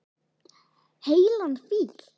Heilan fíl.